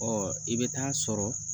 Ɔ i bɛ taa sɔrɔ